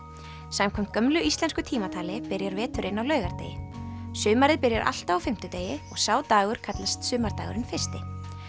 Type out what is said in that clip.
samkvæmt gömlu íslensku tímatali byrjar veturinn á laugardegi sumarið byrjar alltaf á fimmtudegi og sá dagur kallast sumardagurinn fyrsti